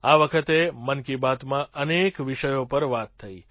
આ વખતે મન કી બાતમાં અનેક વિષયો પર વાત થઈ